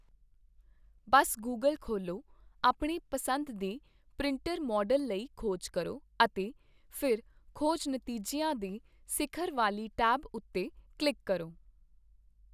ਬਸ Google ਖੋਲ੍ਹੋ, ਆਪਣੇ ਪਸੰਦ ਦੇ ਪ੍ਰਿੰਟਰ ਮਾਡਲ ਲਈ ਖੋਜ ਕਰੋ, ਅਤੇ ਫਿਰ ਖੋਜ ਨਤੀਜਿਆਂ ਦੇ ਸਿਖਰ ਵਾਲੀ ਟੈਬ ਉੱਤੇ ਕਲਿੱਕ ਕਰੋ।